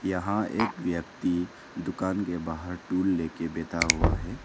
यहां एक व्यक्ति दुकान के बाहर टूल ले के बैठा हुआ है।